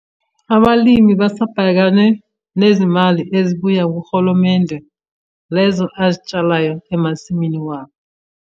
Abalimi basabhekane nezimali ezibuya kuhulumende lezo azitshalayo emasimini wabo.